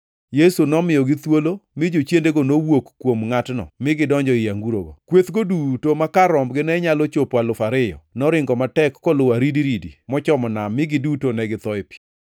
Yesu nomiyogi thuolo mi jochiendego nowuok kuom ngʼatno mi gidonjo ei angurogo. Kwethgo duto ma kar rombgi ne nyalo chopo alufu ariyo, noringo matek koluwo aridiridi mochomo nam mi giduto ne githo ei pi.